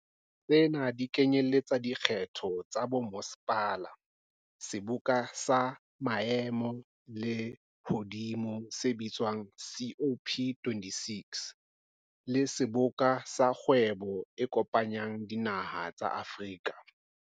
Tsena di kenyeletsa dikgetho tsa bommasepala, seboka sa maemo a lehodimo se bitswang COP26, le Seboka sa Kgwebo e Kopanyang Dinaha tsa Afrika.